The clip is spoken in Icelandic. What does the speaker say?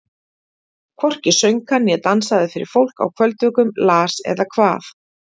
Hvorki söng hann né dansaði fyrir fólk á kvöldvökum, las eða kvað.